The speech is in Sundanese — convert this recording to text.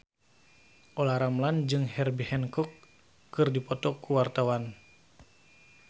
Olla Ramlan jeung Herbie Hancock keur dipoto ku wartawan